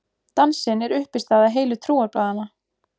Dansinn er uppistaða heilu trúarbragðanna.